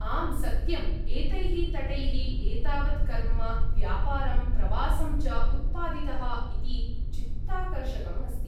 आं, सत्यम्! एतैः तटैः एतावत् कर्म्म, व्यापारं, प्रवासं च उत्पादितः इति चित्ताकर्षकम् अस्ति।